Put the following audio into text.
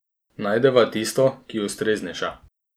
Najdeva tisto, ki je ustreznejša.